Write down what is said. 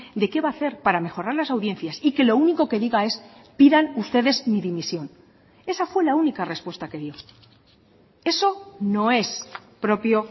de que va a hacer para mejorar las audiencias y que lo único que diga es pidan ustedes mi dimisión esa fue la única respuesta que dio eso no es propio